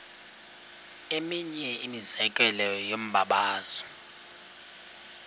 eminye imizekelo yombabazo